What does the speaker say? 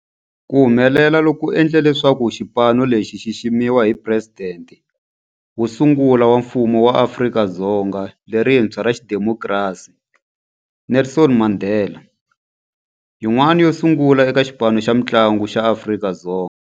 Ku humelela loku ku endle leswaku xipano lexi xi xiximiwa hi Presidente wo sungula wa Mfumo wa Afrika-Dzonga lerintshwa ra xidemokirasi, Nelson Mandela, yin'wana yo sungula eka xipano xa mintlangu xa Afrika-Dzonga.